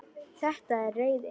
Þetta er reiði.